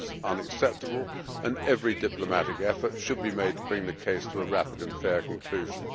This is unacceptable and every diplomatic effort should be made to bring the case to a rapid and fair conclusion.